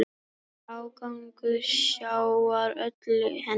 Ágangur sjávar olli henni.